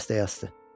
Və dəstəyi asdı.